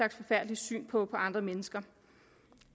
syn på andre mennesker